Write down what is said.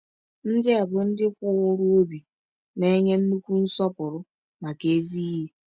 Ndị a bụ ndị kwụụrụ obi, na-enwe nnukwu nsọpụrụ maka ezi ihe.